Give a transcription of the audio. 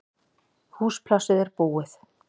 Húsplássið er búið